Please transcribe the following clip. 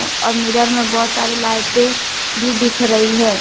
और मिरर में बहुत सारी लाइटें भी दिख रही है।